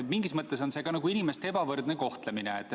Mingis mõttes on see ka inimeste ebavõrdne kohtlemine.